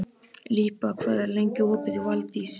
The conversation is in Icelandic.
Líba, hvað er lengi opið í Valdís?